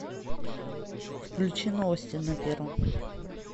включи новости на первом